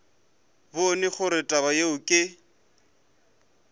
bone gore taba yeo ke